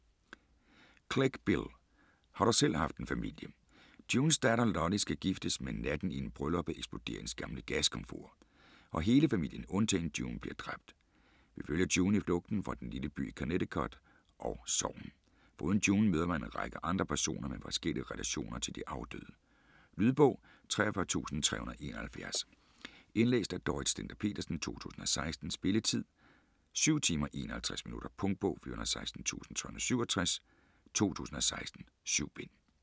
Clegg, Bill: Har du selv haft en familie Junes datter Lolly skal giftes, men natten inden brylluppet eksploderer hendes gamle gaskomfur, og hele familien undtagen June bliver dræbt. Vi følger June i flugten fra den lille by i Connecticut og sorgen. Foruden June møder man en række andre personer med forskellige relationer til de afdøde. Lydbog 43371 Indlæst af Dorrit Stender-Petersen, 2016. Spilletid: 7 timer, 51 minutter. Punktbog 416367 2016. 7 bind.